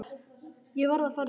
Ég verð að fara núna!